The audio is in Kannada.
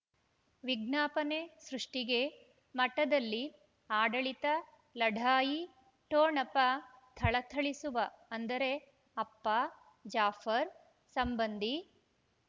ವಿಜ್ಞಾಪನೆ ಸೃಷ್ಟಿಗೆ ಮಠದಲ್ಲಿ ಆಡಳಿತ ಲಢಾಯಿ ಠೊಣಪ ಥಳಥಳಿಸುವ ಅಂದರೆ ಅಪ್ಪ ಜಾಫರ್ ಸಂಬಂಧಿ